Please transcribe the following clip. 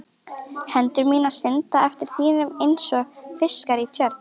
Hendur mínar synda eftir þínum einsog fiskar í tjörn.